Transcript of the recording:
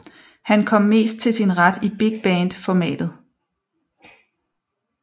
Han kom mest til sin ret i big band formatet